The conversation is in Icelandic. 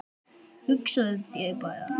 Hugsaðu þér bara.